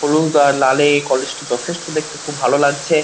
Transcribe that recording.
হলুদ আর লালে এই কলেজ -টি যথেষ্ট দেখতে খুব ভালো লাগছে।